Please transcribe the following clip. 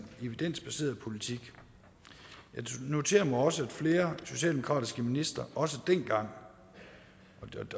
evidensbaseret politik jeg noterer mig også at flere socialdemokratiske ministre dengang